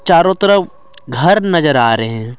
चारों तरफ घर नजर आ रहे हैं।